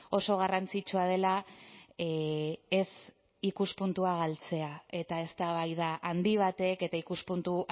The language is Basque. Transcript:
oso garrantzitsua dela ez ikuspuntua galtzea eta eztabaida handi batek eta ikuspuntu